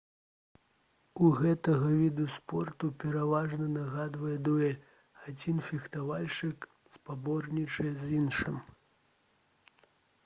у гэтага віду спорту пераважна нагадвае дуэль адзін фехтавальшчык спаборнічае з іншым